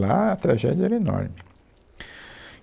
Lá a tragédia era enorme.